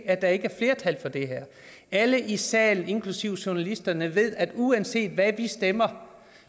at der ikke er flertal for det her alle i salen inklusive journalisterne ved at uanset hvad vi stemmer